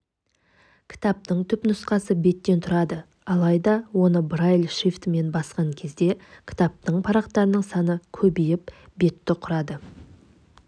кітаптың түпнұсқасы беттен тұрады алайда оны брайль шрифтімен басқан кезде кітаптың парақтарының саны көбейіп бетті құрады